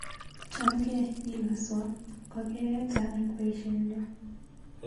Chamgee, ilaswa, kokeeta eng baishenyu